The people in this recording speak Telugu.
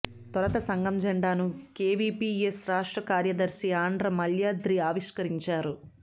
తొలుత సంఘం జెండాను కెవిపిఎస్ రాష్ట్ర కార్యదర్శి ఆండ్ర మాల్యాద్రి ఆవిష్కరించారు